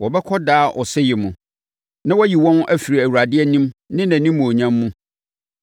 Wɔbɛkɔ daa ɔsɛeɛ mu na wɔayi wɔn afiri Awurade anim ne nʼanimuonyam mu